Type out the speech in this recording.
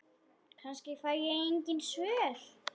Kannski fæ ég engin svör.